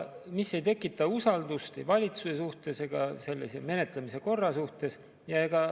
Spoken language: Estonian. See ei tekita usaldust ei valitsuse vastu ega sellise menetlemise korra vastu.